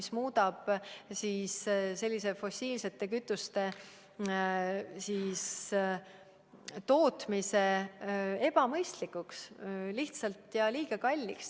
See poliitika muudab fossiilsete kütuste tootmise lihtsalt ebamõistlikuks ja liiga kalliks.